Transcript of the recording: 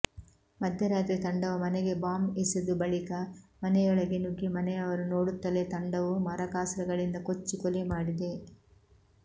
ಮಧ್ಯರಾತ್ರಿ ತಂಡವು ಮನೆಗೆ ಬಾಂಬ್ ಎಸೆದು ಬಳಿಕ ಮನೆಯೊಳಗೆ ನುಗ್ಗಿ ಮನೆಯವರು ನೋಡುತ್ತಲೇ ತಂಡವು ಮಾರಕಾಸ್ತ್ರಗಳಿಂದ ಕೊಚ್ಚಿ ಕೊಲೆ ಮಾಡಿದೆ